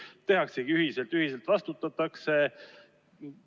Kas siis tehaksegi ühiselt ja ühiselt ka vastutatakse?